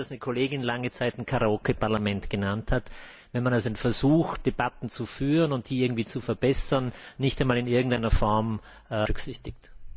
Das ist das, was eine Kollegin lange Zeit ein Karaoke Parlament genannt hat, wenn man einen Versuch, Debatten zu führen und die irgendwie zu verbessern, nicht einmal in irgendeiner Form berücksichtigt.